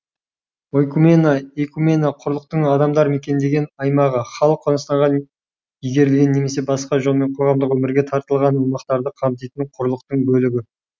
ойкумена эйкумена құрлықтың адамдар мекендеген аймағы халық қоныстанған игерілген немесе басқа жолмен қоғамдық өмірге тартылған аумақтарды қамтитын құрлықтың бөлігі